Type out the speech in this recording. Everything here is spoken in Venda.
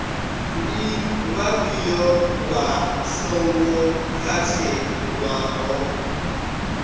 ndi vhafhio vha songo katelwaho